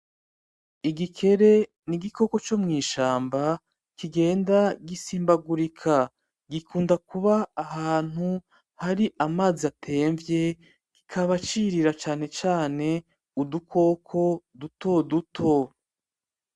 Igikere n'igikoko co mw'ishamba kigenda gisimbagurika, gikunda kuba ahantu hari amazi atemvye kikaba cirira cane cane udukoko dutoduto.